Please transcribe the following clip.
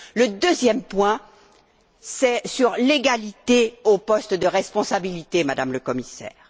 Le deuxième point porte sur l'égalité aux postes à responsabilités, Madame la Commissaire.